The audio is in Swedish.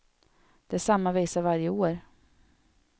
Det är samma visa varje år.